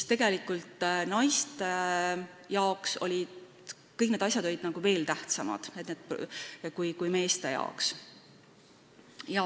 Tegelikult olid naistele kõik need asjad nagu veel tähtsamad kui meestele.